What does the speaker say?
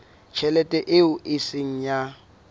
tjhelete eo e seng ya